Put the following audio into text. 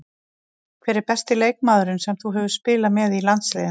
Hver er besti leikmaðurinn sem þú hefur spilað með í landsliðinu?